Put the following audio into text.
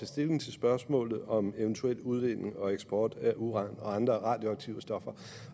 stilling til spørgsmålet om eventuel udvinding og eksport af uran og andre radioaktive stoffer